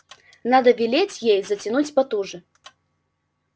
надо велеть ей затянуть потуже